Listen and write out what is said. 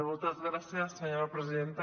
moltes gràcies senyora presidenta